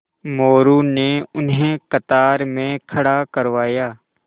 मोरू ने उन्हें कतार में खड़ा करवाया